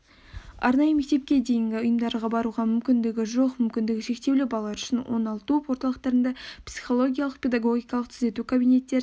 арнайы мектепке дейінгі ұйымдарға баруға мүмкіндігі жоқ мүмкіндігі шектеулі балалар үшін оңалту орталықтарында психологиялық-педагогикалық түзету кабинеттерінде